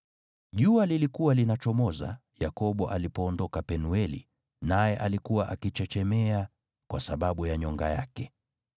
Jua lilikuwa linachomoza Yakobo alipoondoka Penueli, naye alikuwa akichechemea kwa sababu ya nyonga yake.